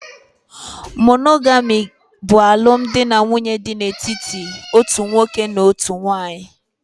Monogami bụ alụmdi na nwunye dị n'etiti otu nwoke na otu nwanyị